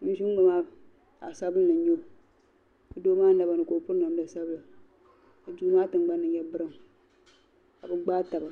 ŋun zi n ŋɔ maazaɣisabinli n nyao, doo maa nabani ka okpiri namda sabila ,ka duu maa tiŋgbani nyɛ green kabi gbaa taba